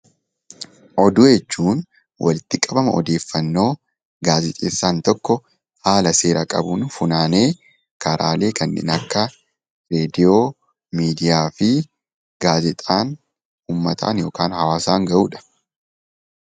Oduu jechuun walitti qabama odeeffannoo gaazexeessaan tokko haala seera qabuun funaanee karaalee kanneen akka reediyoo, miidiyaa fi gaazexaan uummataan yookaan hawaasaan ga'uudha.